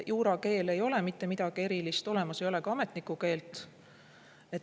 Juurakeel ei ole mitte midagi erilist, olemas ei ole ka ametniku keelt.